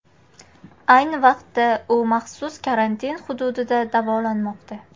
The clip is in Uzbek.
Ayni vaqtda u maxsus karantin hududida davolanmoqda.